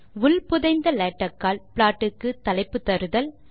உள் புதைந்த லேடக் ஆல் ப்ளாட் க்கு தலைப்பு தருதல்